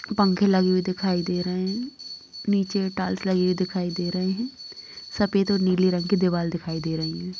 पंखे लगे हुई दिखाई दे रहे हैं। नीचे टाइल्स लगी हुई दिखाई दे रहे हैं। सफ़ेद और नीले रंग की दीवाल दिखाई दे रही है।